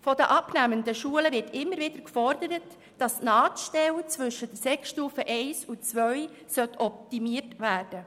Von den abnehmenden Schulen wird immer wieder gefordert, dass die Nahtstelle zwischen der Sekundarstufe I und II optimiert wird.